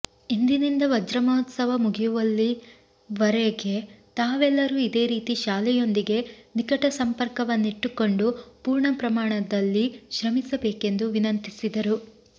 ಇಂದಿನಿಂದ ವಜ್ರಮಹೋತ್ಸವ ಮುಗಿಯುವಲ್ಲಿವರೆಗೆ ತಾವೆಲ್ಲರೂ ಇದೇ ರೀತಿ ಶಾಲೆಯೊಂದಿಗೆ ನಿಕಟ ಸಂಪರ್ಕವನ್ನಿಟ್ಟುಕೊಂಡು ಪೂರ್ಣಪ್ರಮಾಣದಲ್ಲಿ ಶ್ರಮಿಸಬೇಕೆಂದು ವಿನಂತಿಸಿದರು